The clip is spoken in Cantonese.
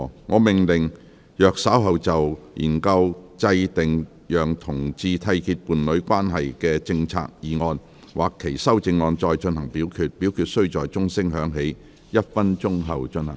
我命令若稍後就"研究制訂讓同志締結伴侶關係的政策"所提出的議案或修正案再進行點名表決，表決須在鐘聲響起1分鐘後進行。